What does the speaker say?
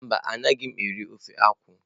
Mba anaghị m eri ofe akwụ.